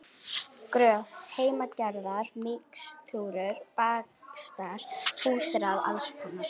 Grös, heimagerðar mixtúrur, bakstrar, húsráð alls konar.